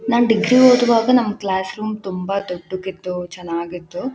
ನಾನ್ degree ಓದುವಾಗ ನಮ್ class room ತುಂಬ ದೊಡ್ಡುಕ್ಕಿತ್ತು ಚೆನ್ನಾಗಿತ್ತು .